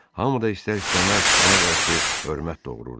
Hamı da istər-istəməz ona qarşı hörmət doğururdu.